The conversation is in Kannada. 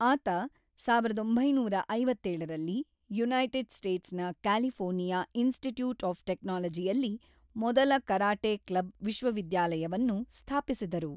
ಆತ ಸಾವಿರದ ಒಂಬೈನೂರ ಐವತ್ತೇಳರಲ್ಲಿ ಯುನೈಟೆಡ್ ಸ್ಟೇಟ್ಸ್‌ನ ಕ್ಯಾಲಿಫೋರ್ನಿಯಾ ಇನ್ಸ್ಟಿಟ್ಯೂಟ್ ಆಫ್ ಟೆಕ್ನಾಲಜಿಯಲ್ಲಿ ಮೊದಲ ಕರಾಟೆ ಕ್ಲಬ್ ವಿಶ್ವವಿದ್ಯಾಲಯವನ್ನು ಸ್ಥಾಪಿಸಿದರು.